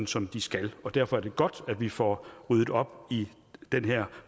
som de skal derfor er det godt at vi får ryddet op i den her